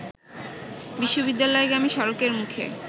বিশ্ববিদ্যালয়গামী সড়কের মুখে